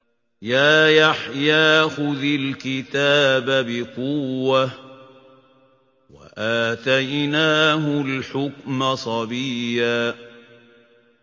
يَا يَحْيَىٰ خُذِ الْكِتَابَ بِقُوَّةٍ ۖ وَآتَيْنَاهُ الْحُكْمَ صَبِيًّا